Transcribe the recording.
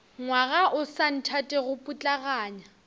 ngwaga o sa nthatego putlaganya